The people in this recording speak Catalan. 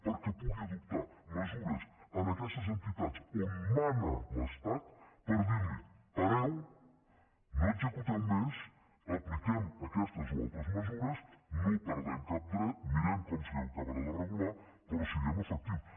perquè pugui adoptar mesures en aquestes entitats on mana l’estat per dir los pareu no executeu més apliquem aquestes o altres mesures no perdem cap dret mirem com s’acabarà de regular però siguem efectius